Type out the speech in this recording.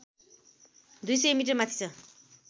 २०० मि माथि छ